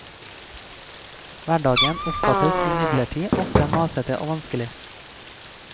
Hverdagen oppfattes imidlertid ofte masete og vanskelig.